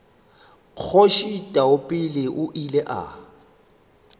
kgoši taupela o ile a